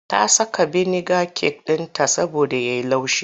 Ta saka biniga cake ɗinta saboda ya yi laushi.